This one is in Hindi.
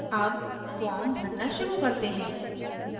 अब form भरना शुरू करते हैं